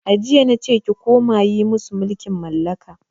A jiya nace ki koma yi musu mulkin mallaka!